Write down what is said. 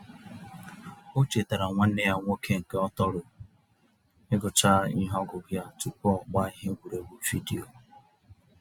O chetaara nwanne ya nwoke nke ọ tọro igucha ihe ọgụgụ ya tupu ọgbaa ihe egwuregwu vidiyo.